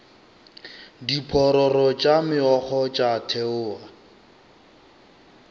diphororo tša meokgo tša theoga